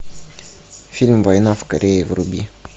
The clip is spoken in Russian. фильм война в корее вруби